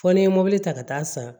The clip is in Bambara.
Fɔ ni ye mɔbili ta ka taa san